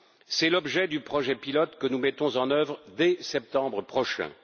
C'est l'objet du projet pilote que nous mettrons en œuvre dès septembre prochain.